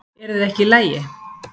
Eruð þið ekki í lagi